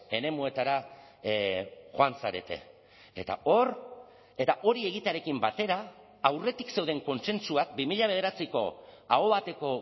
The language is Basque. eremuetara joan zarete eta hor eta hori egitearekin batera aurretik zeuden kontsentsuak bi mila bederatziko aho bateko